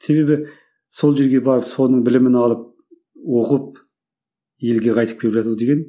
себебі сол жерге барып соның білімін алып ұғып елге қайтып келіп жату деген